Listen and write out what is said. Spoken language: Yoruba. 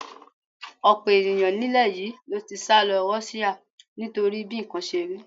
Ọ̀pọ̀ ènìyàn nílẹ̀ yìí ló ti sálọ Russia nítorí bí nǹkan ṣe rí.